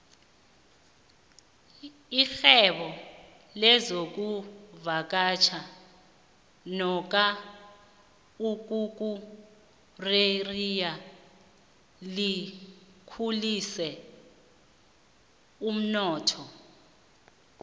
irhwebo lezokuvakatjha nomka ukukureriya likhulise umnotho